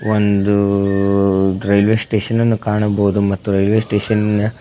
ಒಂದು ರೈಲ್ವೇ ಸ್ಟೇಷನನ್ನು ಕಾಣಬಹುದು ಮತ್ತು ರೈಲ್ವೇ ಸ್ಟೇಷನಿನ--